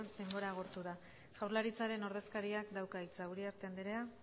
denbora agortu da jaurlaritzaren ordezkariak dauka hitza uriarte andrea